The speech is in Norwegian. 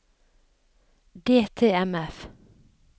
DTMF